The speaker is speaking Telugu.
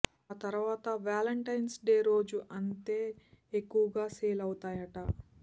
ఆ తర్వాత వాంటంటైన్స్ డే రోజు అంతే ఎక్కువగా సేల్ అవుతాయట